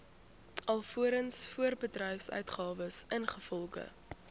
alvorens voorbedryfsuitgawes ingevolge